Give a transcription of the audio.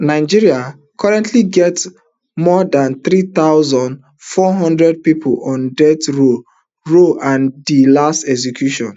nigeria currently get more dan three thousand, four hundred pipo on death row row and di last execution